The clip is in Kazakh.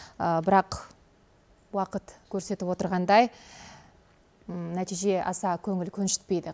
бірақ уақыт көрсетіп отырғандай нәтиже аса көңіл көншітпейді